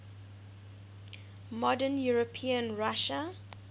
modern european russia